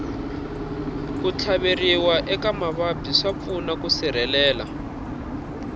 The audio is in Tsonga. ku tlhaveriwa eka mavabyi swa pfuna ku sirhelela